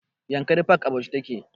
Yankari park a bauchi yake